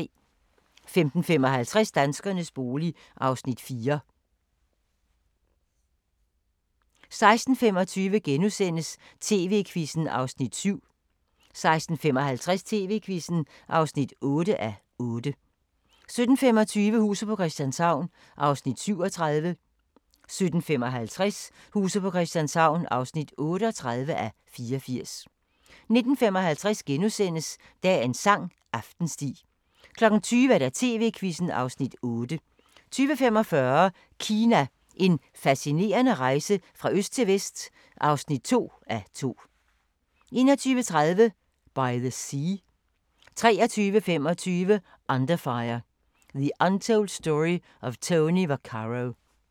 15:55: Danskernes bolig (Afs. 4) 16:25: TV-Quizzen (7:8)* 16:55: TV-Quizzen (8:8) 17:25: Huset på Christianshavn (37:84) 17:55: Huset på Christianshavn (38:84) 19:55: Dagens sang: Aftensti * 20:00: TV-Quizzen (Afs. 8) 20:45: Kina – En fascinerende rejse fra øst til vest (2:2) 21:30: By the Sea 23:25: Underfire: The Untold Story of Tony Vaccaro